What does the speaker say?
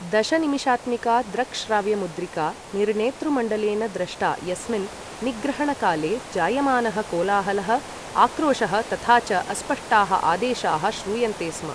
दशनिमिषात्मिका दृक्श्राव्यमुद्रिका निर्णेतृमण्डलेन दृष्टा यस्मिन् निग्रहणकाले जायमानः कोलाहलः, आक्रोशः तथा च अस्पष्टाः आदेशाः श्रूयन्ते स्म।